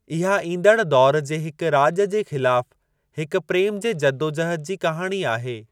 इहा ईंदड़ दौर जे हिक राॼ जे ख़िलाफ़ु हिक प्रेम जे जदोजहद जी कहाणी आहे।